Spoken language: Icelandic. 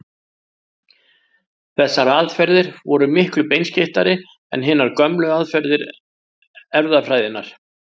Þessar aðferðir voru miklu beinskeyttari en hinar gömlu aðferðir erfðafræðinnar.